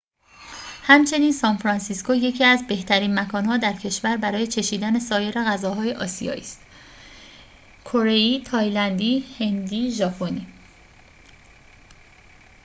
همچنین سانفرانسیسکو یکی از بهترین مکان‌ها در کشور برای چشیدن سایر غذاهای آسیایی است کره‌ای تایلندی هندی و ژاپنی